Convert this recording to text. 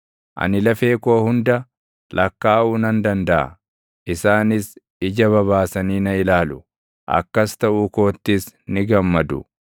Ani lafee koo hunda lakkaaʼuu nan dandaʼa; isaanis ija babaasanii na ilaalu; akkas taʼuu koottis ni gammadu.